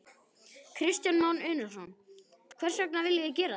Kristján Már Unnarsson: Hvers vegna viljið þið gera þetta?